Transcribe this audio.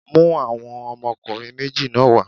Mú àwọn ọmọkùnrin méjì náà wá.!